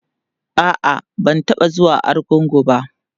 a'a ban taɓa zuwa argungu ba